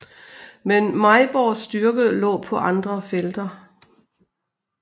Men Mejborgs styrke lå på andre felter